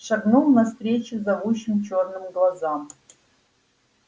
шагнул навстречу зовущим чёрным глазам